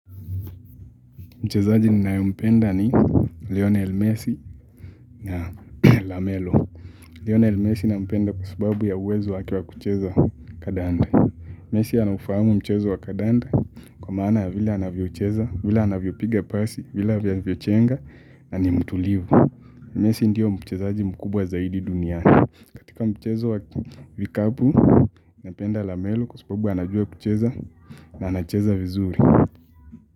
Mchezaji ninayempenda ni leonel messi na lamelo. Leonel messi nampenda kwa sababu ya uwezo wake wa kucheza kandanda. Messi anafahamu mchezo wa kandanda kwa maana vile anavyocheza, vile anavyopiga pasi, vile anavyochenga na ni mtulivu. Messi ndio mchezaji mkubwa zaidi duniani. Katika mchezo wa vikabu, napenda lamelo kwa sababu anajua kucheza na anacheza vizuri.